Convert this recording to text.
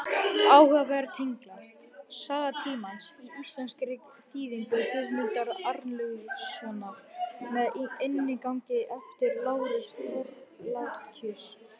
Áhugaverðir tenglar: Saga tímans, í íslenskri þýðingu Guðmundar Arnlaugssonar með inngangi eftir Lárus Thorlacius.